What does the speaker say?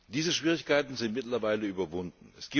Diese Schwierigkeiten sind mittlerweile überwunden.